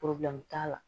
t'a la